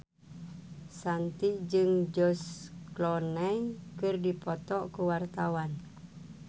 Shanti jeung George Clooney keur dipoto ku wartawan